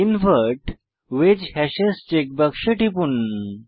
invert ওয়েজ হাশেস check বাক্সে টিপুন